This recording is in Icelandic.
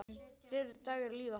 Fleiri dagar líða.